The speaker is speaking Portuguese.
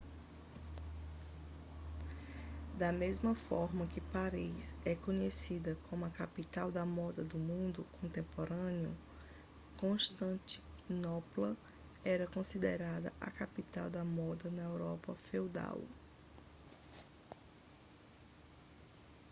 da mesma forma que paris é conhecida como a capital da moda do mundo contemporâneo constantinopla era considerada a capital da moda da europa feudal